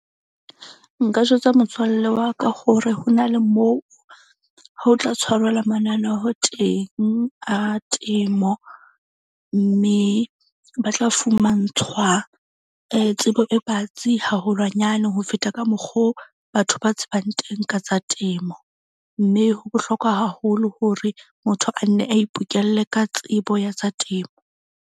Nka jwetsa motswalle wa ka hore ho na le moo ho tla tshwarelwa mananeho teng a temo. Mme ba tla fumantshwa tsebo e batsi haholwanyane ho feta ka mokgo batho ba tsebang teng ka tsa temo. Mme ho bohlokwa haholo hore motho a nne a ipokelle ka tsebo ya tsa temo.